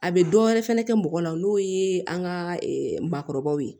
A bɛ dɔ wɛrɛ fɛnɛ kɛ mɔgɔ la n'o ye an ka maakɔrɔbaw ye